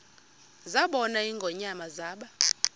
zabona ingonyama zaba